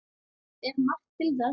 Ber margt til þess.